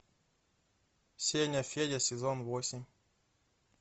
сеня федя сезон восемь